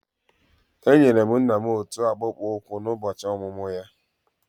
Enyere m nna m otu akpụkpọ ụkwụ n'ụbọchị ọmụmụ ya.